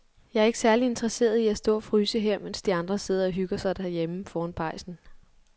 Jeg er ikke særlig interesseret i at stå og fryse her, mens de andre sidder og hygger sig derhjemme foran pejsen.